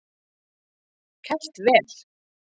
Kælt vel.